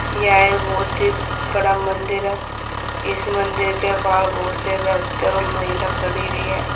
यह एक बहुत बड़ा मंदिर है इस मंदिर के बाहर बहुत से व्यक्ति और महिला खड़ी हुई है।